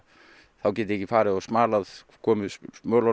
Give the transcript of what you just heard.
þá get ég ekki farið og smalað komið